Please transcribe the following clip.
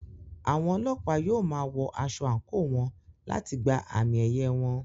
Àwọn Ọlọ́pàá yóò máa wọ aṣọ àǹkóò wọn láti gba àmì-ẹ̀yẹ wọn.